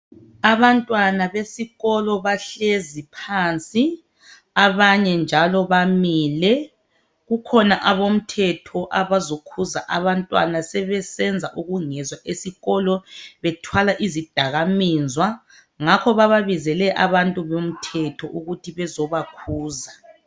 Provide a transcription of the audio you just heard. Abantwana besikolo bahlezi phansi abanye njalo bamiile . Kukhona abomthetho abazokhuza abantwana sebesenza ukungezwa esikolo bethwala izidakamizwa ngakho bababizile abantu bomthetho ukuthi bezobakhuza.